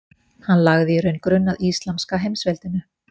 Hann lagði í raun grunn að íslamska heimsveldinu.